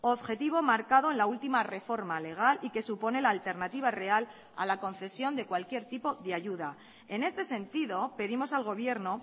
objetivo marcado en la ultima reforma legal y que supone la alternativa real a la concesión de cualquier tipo de ayuda en este sentido pedimos al gobierno